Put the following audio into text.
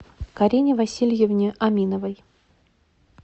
карине васильевне аминовой